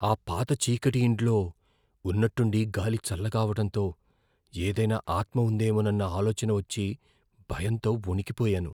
ఆ పాత చీకటి ఇంట్లో ఉన్నట్టుండి గాలి చల్లగా అవడంతో ఏదైనా ఆత్మ ఉందేమోనన్న ఆలోచన వచ్చి భయంతో వణికిపోయాను.